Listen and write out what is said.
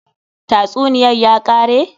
Tatsuniyar ya kare?